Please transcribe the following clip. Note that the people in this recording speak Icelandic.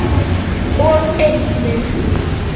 og einnig